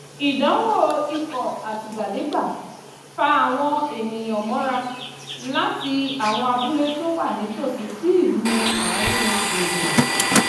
ìdánwò ikọ̀ àtìgbàdégbà fa àwọn èniǹyàn mọ́ra láti àwọn abúlé tó wà nítòsí sí ìlú àáriń gbùngbùn